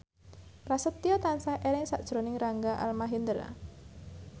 Prasetyo tansah eling sakjroning Rangga Almahendra